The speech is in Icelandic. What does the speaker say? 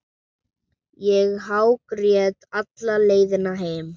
Ég hágrét alla leiðina heim.